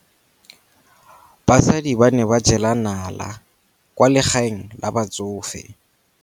Basadi ba ne ba jela nala kwaa legaeng la batsofe.